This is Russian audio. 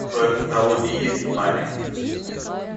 в твоем каталоге есть цунами